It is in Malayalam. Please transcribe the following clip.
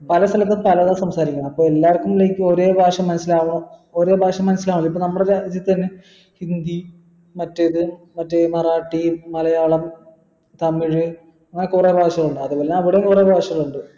പല സ്ഥലത്തും പലതാ സംസാരിക്കുന്നെ അപ്പൊ like എല്ലായിടത്തും ഒരേ ഭാഷ മനസ്സിലാവ ഒരേ ഭാഷ മനസ്സിലാവില്ല ഇപ്പൊ നമ്മുടെ രാജ്യത്ത് തന്നെ ഹിന്ദി മറ്റേത് മറ്റേ മറാട്ടി മലയാളം തമിഴ് അങ്ങനെ കുറെ ഭാഷകൾ ഉണ്ട് അത്പോലെ അവിടെയും കുറെ ഭാഷകൾ ഉണ്ട്